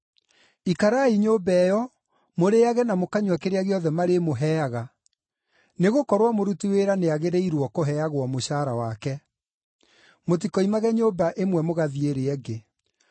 Ikarai nyũmba ĩyo, mũrĩĩage na mũkanyua kĩrĩa gĩothe marĩmũheaga, nĩgũkorwo mũruti wĩra nĩagĩrĩirwo kũheagwo mũcaara wake. Mutikoimage nyũmba ĩmwe mũgathiĩ ĩrĩa ĩngĩ.